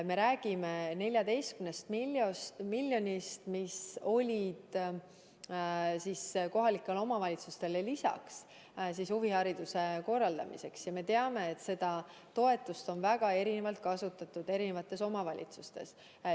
Me räägime 14 miljonist eurost, mis oli kohalikele omavalitsustele huvihariduse korraldamiseks lisaks ette nähtud, ja me teame, et seda toetust on omavalitsuseti väga erinevalt kasutatud.